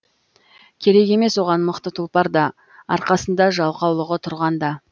керек емес оған мықты тұлпар да арқасында жалқаулығы тұрғанда